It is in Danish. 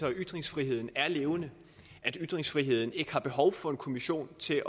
at ytringsfriheden er levende at ytringsfriheden ikke har behov for en kommission til